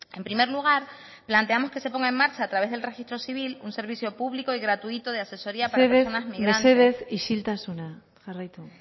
en primer lugar planteamos que se pongan en marcha a través del registro civil un servicio público y gratuito de asesoría para las personas migrantes mesedez isiltasuna jarraitu